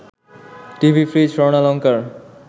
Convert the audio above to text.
TV, fridge, স্বর্ণালঙ্কার